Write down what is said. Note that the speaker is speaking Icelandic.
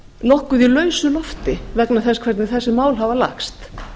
nokkuð í lausu lofti vegna þess hvernig þessi mál hafa lagst